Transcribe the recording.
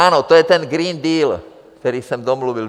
Ano, to je ten Green Deal, který jsem domluvil.